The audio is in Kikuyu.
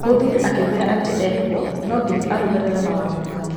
Mũthuri akĩmwĩra atĩ ekũu no nginya arũmĩrĩre mawatho make.